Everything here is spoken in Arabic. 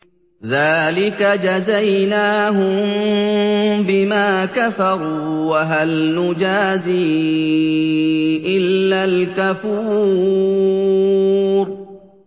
ذَٰلِكَ جَزَيْنَاهُم بِمَا كَفَرُوا ۖ وَهَلْ نُجَازِي إِلَّا الْكَفُورَ